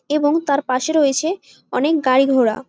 এবং তার পাশে রয়েছে অনেক গাড়ি ঘোড়া।